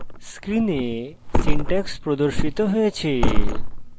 screen syntax প্রদর্শিত হয়েছে